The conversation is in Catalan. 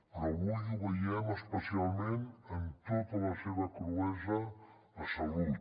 però avui ho veiem especialment amb tota la seva cruesa a salut